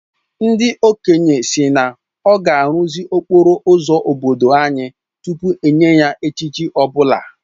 Ndị okenye sị na ọ ga-arụzi okporo ụzọ obodo anyị tupu enye ya echichi ọ bụla